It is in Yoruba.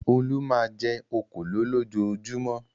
Olú máa ń jẹ òkòló lójoojúmọ́.